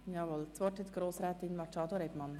Das Wort hat Grossrätin Machado Rebmann.